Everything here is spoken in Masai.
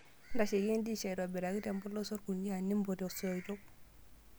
Ntasheyie endish aitobiraki tempolos orkunia nimput isoitok.